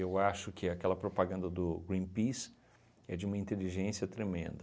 acho que aquela propaganda do Greenpeace é de uma inteligência tremenda.